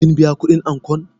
Kin biya kuɗin ankon?